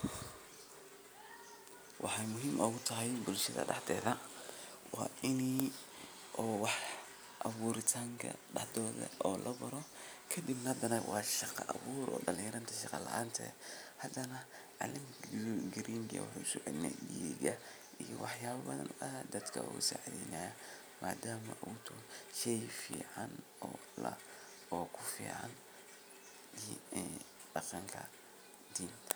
Waxa muhiim ogutahaybulshatha dahdethaa wa inii wah awuritanka dahdothaa lagalo kadib wa shaqa awooor dalinyaratha shaqa laanta hadana calenta green ka wuhu socelinayaa digaa iyo wahyaba bathan o dadka sacitheynaya madama uyahay shey fcn o la o kufcn daqanka